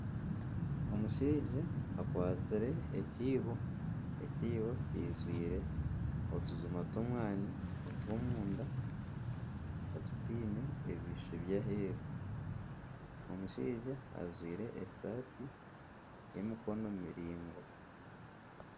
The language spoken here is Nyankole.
Omushaija akwatsire ekiibo kijwiire otujuma tw'omwani otw'omunda otutaine ebishushu ebyaheeru omushaija ajwaire esaati y'emikono miraingwa